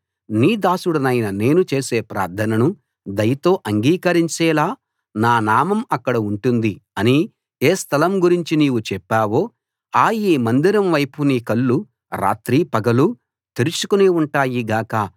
నీ దాసుడినైన నేను చేసే ప్రార్థనను దయతో అంగీకరించేలా నా నామం అక్కడ ఉంటుంది అని ఏ స్థలం గురించి నీవు చెప్పావో ఆ ఈ మందిరం వైపు నీ కళ్ళు రాత్రీ పగలూ తెరచుకుని ఉంటాయి గాక